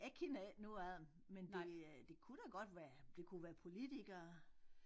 Jeg kender ikke nogen af dem men det øh det kunne da godt være det kunne være politikere